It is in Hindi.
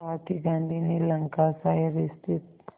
साथ ही गांधी ने लंकाशायर स्थित